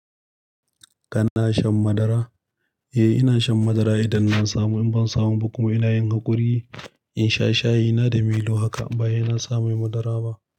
Kana shan madara? Eh, ina shan madara idan na samu. In ban samu ba kuma ina yinha ƙuri'i, in sha shayi. Ina da milo haka, ba yana sa mai madara ba.